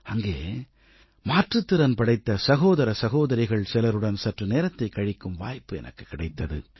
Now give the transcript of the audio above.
அங்கே மாற்றுத்திறன் படைத்த சகோதர சகோதரிகள் சிலருடன் சற்று நேரத்தை கழிக்கும் வாய்ப்பு எனக்குக் கிடைத்தது